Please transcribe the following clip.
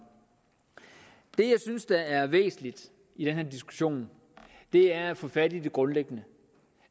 det jeg synes er væsentligt i den her diskussion er at få fat i det grundlæggende